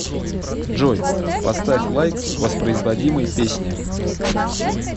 джой поставь лайк воспроизводимой песне